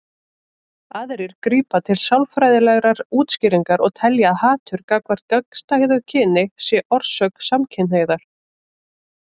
Aðrir grípa til sálfræðilegra útskýringa og telja að hatur gagnvart gagnstæðu kyni sé orsök samkynhneigðar.